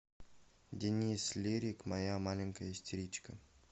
денис лирик моя маленькая истеричка